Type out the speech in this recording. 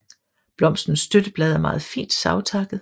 Blomstens støtteblad er meget fint savtakket